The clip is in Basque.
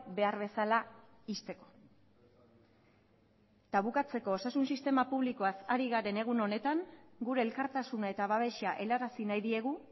behar bezala ixteko eta bukatzeko osasun sistema publikoaz ari garen egun honetan gure elkartasuna eta babesa helarazi nahi diegu